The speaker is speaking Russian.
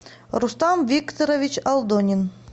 рустам викторович алдонин